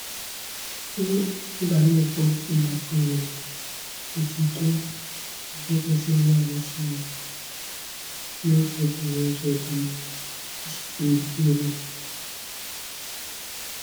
Mbanefo nakweere otuto nke kwesịrị nanị Chineke n’ụzọ dị n’ụzọ dị njikere.